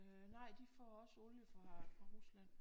Øh nej de får også olie fra Rusland